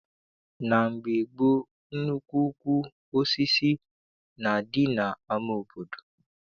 Na mgbe gboo, nnukwu ukwu osisi na-adị n'ama obodo.